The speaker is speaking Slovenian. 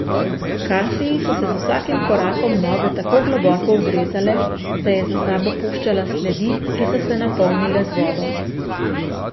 Kasiji so se z vsakim korakom noge tako globoko ugrezale, da je za sabo puščala sledi, ki so se napolnile z vodo.